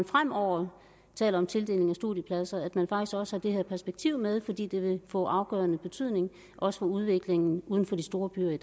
fremover tales om tildeling af studiepladser at man også også har det her perspektiv med fordi det vil få afgørende betydning også for udviklingen uden for de store byer